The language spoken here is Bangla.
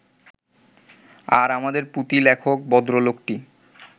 আর আমাদের পুঁথিলেখক ভদ্রলোকটি